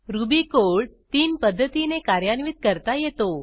ruby code 3 पध्दतीनी कार्यान्वित करता येतो